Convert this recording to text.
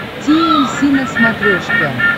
ти эль си на смотрешке